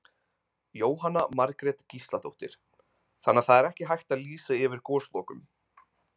Jóhanna Margrét Gísladóttir: Þannig að það er ekki hægt að lýsa yfir goslokum?